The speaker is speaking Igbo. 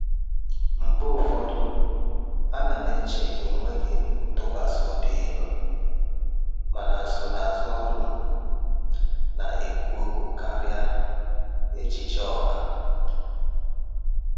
Mgbe ụfọdụ, ana m eche enweghị ntụkwasị obi ihu, mana nsonaazụ ọrụ m na-ekwu okwu karịa echiche ọha.